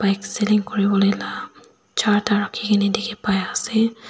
bike selling kuribolae laa charta rakikina diki pai asae.